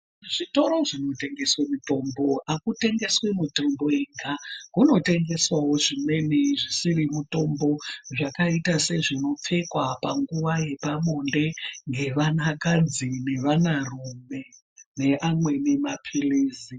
Kuzvitoro zvinotengeswe mitombo hakutengeswi mitombo yega, kunotengeswavo zvimweni zvisiri mutombo. Zvakaita sezvinopfekwa panguva yepabonde nevanakadzi nevanarume neamweni maphirizi.